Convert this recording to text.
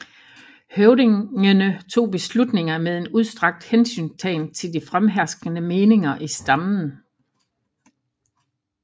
Høvdingene tog beslutninger med en udstrakt hensyntagen til de fremherskende meninger i stammen